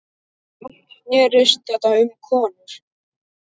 Allt snerist þetta um konur.